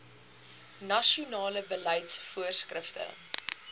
nasionale beleids voorskrifte